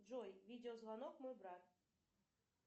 джой видеозвонок мой брат